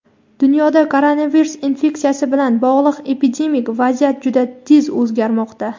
Dunyoda koronavirus infeksiyasi bilan bog‘liq epidemik vaziyat juda tez o‘zgarmoqda.